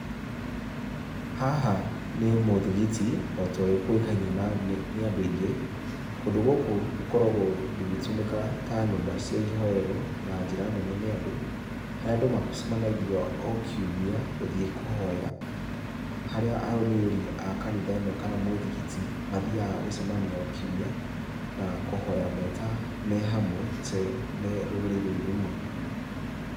Haha nĩ mũthigiti,o ta ũrĩa kũĩkaine nĩ andũ aingĩ. Kũndũ gũkoragwo ũgĩtũmĩka ta nyũmba cia ihoero na njĩra nene nĩ andũ .Harĩa andũ macemanagia o kiumia gũthiĩ kũhoya harĩa arũmĩrĩri a kanitha ĩno kana mũthigiti Mathiaga gũcemania o kiumia na kũhoya me hamwe me rũrĩrĩ rũmwe.